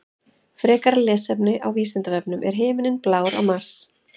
Frekara lesefni á Vísindavefnum: Er himinninn blár á Mars?